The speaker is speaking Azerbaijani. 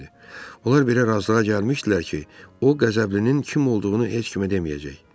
Onlar belə razılığa gəlmişdilər ki, o qəzəblinin kim olduğunu heç kimə deməyəcək.